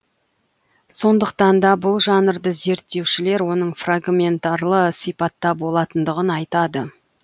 сондықтан да бұл жанрды зерттеушілер оның фрагментарлы сипатта болатындығын айтады